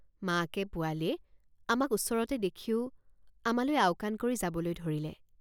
মাকেপোৱালিয়ে আমাক ওচৰতে দেখিও আমালৈ আওকাণ কৰি যাবলৈ ধৰিলে।